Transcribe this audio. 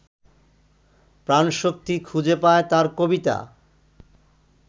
প্রাণশক্তি খুঁজে পায় তাঁর কবিতা